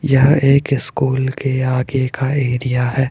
यह एक स्कूल के आगे का एरिया है।